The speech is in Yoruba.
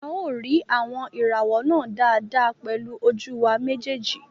A ó rí àwọn ìràwọ̀ náà dáadáa pẹ̀lú ojú wa méjèèjì